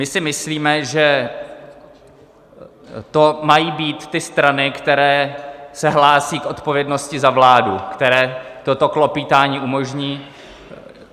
My si myslíme, že to mají být ty strany, které se hlásí k odpovědnosti za vládu, které toto klopýtání umožní.